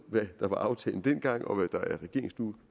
hvad der var aftalen dengang og